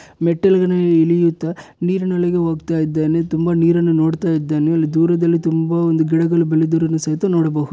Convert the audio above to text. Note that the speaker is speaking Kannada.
ಮೆಟ್ಟಲ್ಗಳ ಇಳಿಯುತ್ತ ನೀರಿನೊಳಗೆ ಹೋಗ್ತಾ ಇದಾನೆ ತುಂಬಾ ನೀರನ್ನು ನೋಡ್ತಾ ಇದ್ದಾನೆ ದೂರದಲ್ಲಿ ತುಂಬಾ ಒಂದು ಗಿಡಗಳು ಬೆಳೆದಿರೋದು ಸಹಿತ ನೋಡಬಹುದು.